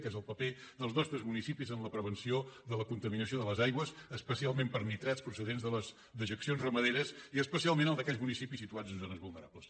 que és el paper dels nostres municipis en la prevenció de la contaminació de les aigües especialment per nitrats procedents de les dejeccions ramaderes i especialment el d’aquells municipis situats en zones vulnerables